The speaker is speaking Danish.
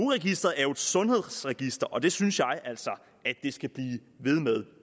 registeret er jo et sundhedsregister og det synes jeg altså at det skal blive ved med